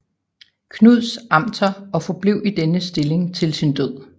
Knuds Amter og forblev i denne stilling til sin død